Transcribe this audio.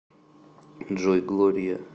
джой глория